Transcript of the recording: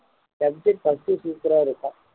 first super ஆ இருக்கும்